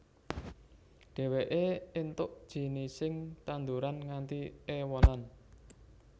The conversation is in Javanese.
Dheweke entuk jinising tanduran nganti ewonan